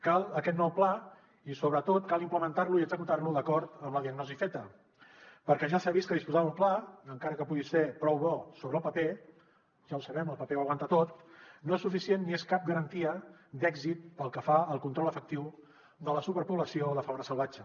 cal aquest nou pla i sobretot cal implementar·lo i executar·lo d’acord amb la diagnosi feta perquè ja s’ha vist que disposar d’un pla encara que pugui ser prou bo sobre el paper ja ho sabem el paper ho aguanta tot no és suficient ni és cap garantia d’èxit pel que fa al control efectiu de la superpoblació de fauna salvatge